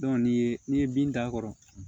ni ye n'i ye bin d'a kɔrɔ